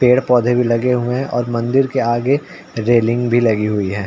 पेड़ पौधे लगे हुए है और मंदिर के आगे रेलिंग भी लगी हुई है।